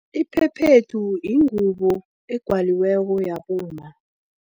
Iphephethu yingubo egwaliweko yabomma.